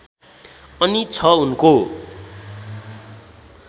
अनि छ उनको